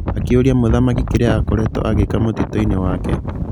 Akĩũrĩa mũthamaki kĩria akoretwo agĩka mũtitũ-inĩ wake.